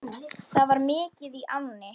Það var mikið í ánni.